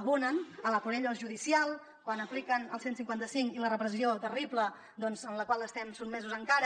abonen l’ a por ellos judicial quan apliquen el cent i cinquanta cinc i la repressió terrible doncs en la qual estem sotmesos encara